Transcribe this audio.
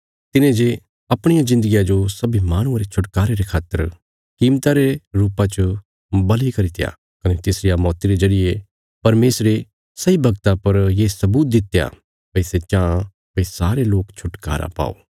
तिने जे अपणिया जिन्दगिया जो सब्बीं माहणुआं रे छुटकारे रे खातर कीमता रे रुपा च बल़ि करित्या कने तिसरिया मौती रे जरिये परमेशरे सही वगता पर ये सबूत दित्या भई सै चांह भई सारे लोक छुटकारा पाओ